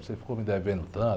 Você ficou me devendo tanto.